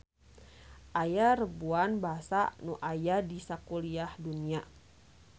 Aya rebuan basa nu aya di sakuliah dunya